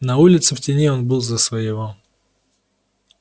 на улице в тени он был за своего